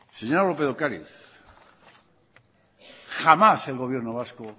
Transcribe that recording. señora lópez de ocariz jamás el gobierno vasco